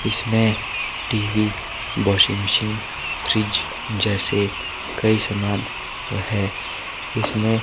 इसमें TV washing machine fridge जैसे कई सामान है इसमें--